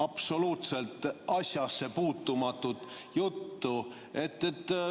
Absoluutselt asjasse puutumatut juttu.